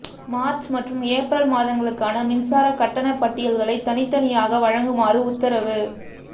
March மற்றும் April மாதங்களுக்கான மின்சார கட்டண பட்டியல்களை தனித்தனியாக வழங்குமாறு உத்தரவு